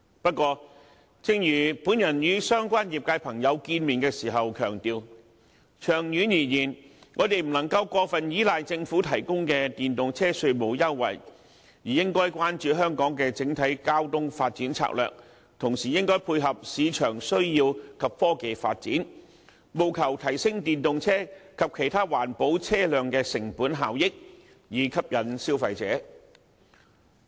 不過，正如我與相關業界朋友會面時強調，長遠而言，我們不能夠過分依賴政府提供的電動車稅務優惠，而應該關注香港的整體交通發展策略，同時配合市場需要及科技發展，務求提升電動車及其他環保車輛的成本效益，以吸引消費者。